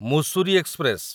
Mussoorie express